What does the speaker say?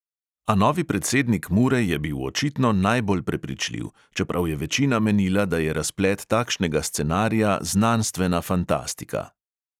A novi predsednik mure je bil očitno najbolj prepričljiv, čeprav je večina menila, da je razplet takšnega scenarija znanstevna fantastika.